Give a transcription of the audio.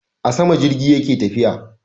A sama jirgi yake tafiya